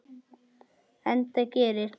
Enda gerir